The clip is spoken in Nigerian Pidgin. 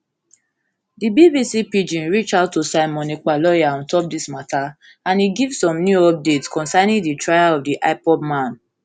di bbc pidgin reach out to simon ekpa lawyer lawyer ontop dis matter and e give some new updates concerning di trial of di ipob man